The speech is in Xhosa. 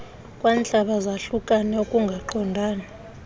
kwantlaba zahlukane ukungaqondani